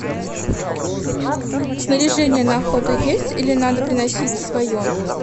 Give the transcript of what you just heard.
снаряжение на охоту есть или надо приносить свое